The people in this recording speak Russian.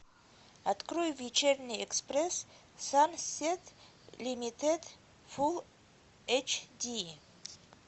открой вечерний экспресс сансет лимитед фулл эйч ди